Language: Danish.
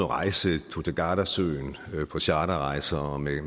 rejse tog til gardasøen på charterrejser og med